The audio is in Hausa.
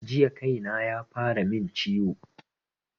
Jiya kaina yafara min ciwo